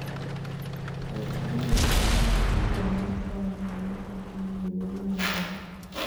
wacho ni Jokanyo mag Bura mar kaonti ne ok omiyo neno moromo.